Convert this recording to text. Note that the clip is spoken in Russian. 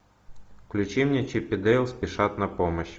включи мне чип и дейл спешат на помощь